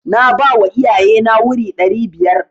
Na bawa iyaye na wuri ɗari biyar.